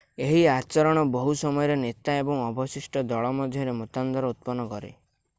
ଏହି ଆଚରଣ ବହୁ ସମୟରେ ନେତା ଏବଂ ଅବଶିଷ୍ଟ ଦଳ ମଧ୍ୟରେ ମତାନ୍ତର ଉତ୍ପନ୍ନ କରେ